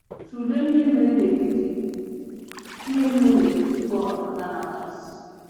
Tụlee ihe mere n'etiti ihe mere n'etiti Pọl na Banabas.